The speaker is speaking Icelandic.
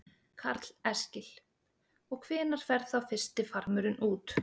Karl Eskil: Og hvenær fer þá fyrsti farmurinn út?